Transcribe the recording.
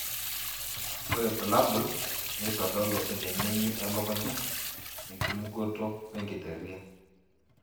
Ore bulabul neitodolu, enenengi elukunya, ekimugoto wenkiteria.